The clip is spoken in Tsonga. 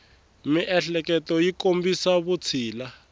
miehleketo yi kombisa vutshila